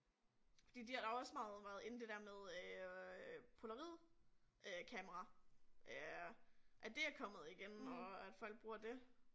Fordi de har da også meget været in det der med øh polaroid øh kamera øh at det er kommet igen og at folk bruger det